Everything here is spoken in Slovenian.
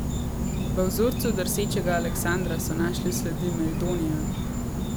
V vzorcu drsečega Aleksandra so našli sledi meldonija!